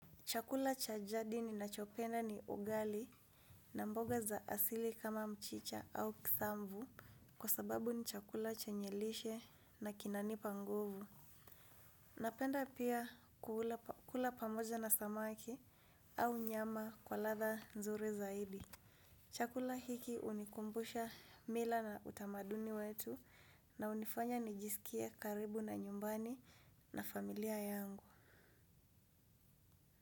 Chakula cha jadi ni nachopenda ni ugali na mboga za asili kama mchicha au kisambu kwa sababu ni chakula chenye lishe na kinanipa nguvu. Napenda pia kula pamoja na samaki au nyama kwa latha nzuri zaidi. Chakula hiki unikumbusha mila na utamaduni wetu na unifanya nijisikie karibu na nyumbani na familia yangu.